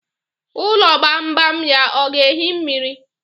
Ụlọ gbam gbam ya ọ ga-ehi mmiri?